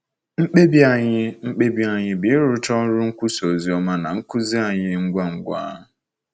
Mkpebi anyị Mkpebi anyị bụ ịrụcha ọrụ nkwusa ozioma na nkuzi anyị ngwa ngwa.